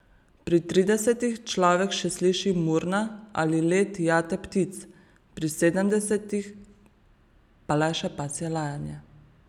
Pri tridesetih človek še sliši murna ali let jate ptic, pri sedemdesetih pa le še pasje lajanje.